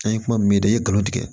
An ye kuma min da i ye nkalon tigɛ